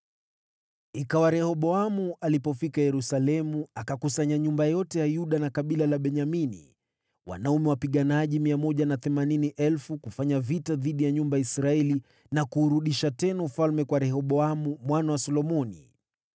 Ikawa Rehoboamu alipofika Yerusalemu, akakusanya nyumba ya Yuda na ya Benyamini, wanaume wapiganaji 180,000, kufanya vita dhidi ya nyumba ya Israeli na kuurudisha tena ufalme kwa Rehoboamu mwana wa Solomoni.